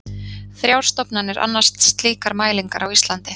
Þrjár stofnanir annast slíkar mælingar á Íslandi.